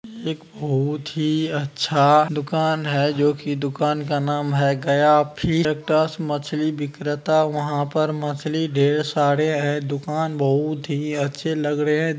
एक बहुत ही अच्छा दुकान है जो कि दुकान का नाम है गया फीस मछली विक्रेता | वहाँ पर मछली ढेर सारे हैं | दुकान बहुत ही अच्छे लग रहे है।